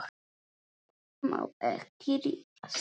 Ég má ekki rífast.